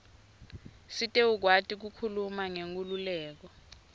sitewukwati kukhuluma ngenkhululeko